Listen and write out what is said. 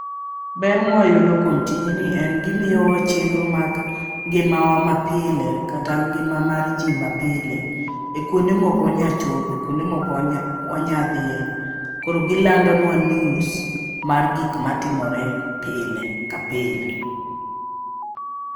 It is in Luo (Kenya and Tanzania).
Ber mwayudo kuom tijni en gimiyo wa chenro mag ngimawa ma pile kata ngima mar jii mapile e kuonde mok wanya chope kuonde mok wanya wanya dhiye. Koro gilando nwa news mar gik matimore pile ka pile.